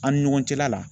An' ni ɲɔgɔn cɛla la